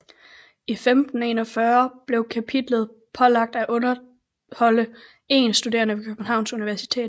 I 1541 blev kapitlet pålagt at underholde én studerende ved Københavns Universitet